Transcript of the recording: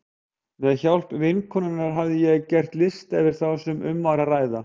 Með hjálp vinkonunnar hafði ég gert lista yfir þá sem um var að ræða.